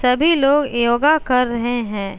सभी लोग योगा कर रहे हैं।